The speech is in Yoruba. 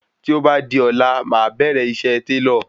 Tí o bá di ọ̀la máà bẹ̀rẹ̀ iṣẹ́ Télọ̀